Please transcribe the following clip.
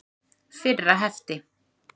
Fyrra hefti.